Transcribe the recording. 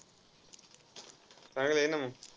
चांगलं आहे ना मंग.